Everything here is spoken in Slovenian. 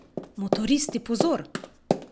Motoristi pozor!